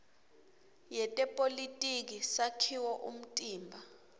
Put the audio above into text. yetepolitiki sakhiwo umtimba